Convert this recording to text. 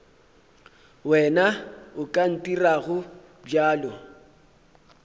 wena o ka ntirago bjalo